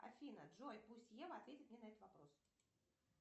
афина джой пусть ева ответит мне на этот вопрос